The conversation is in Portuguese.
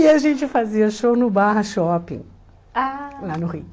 E a gente fazia show no Barra Shopping, ah lá no Rio.